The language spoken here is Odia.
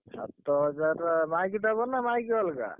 ସାତ ହଜାରେ ମାଇକି ଦବ ନା ମାଇକି ଅଲଗା?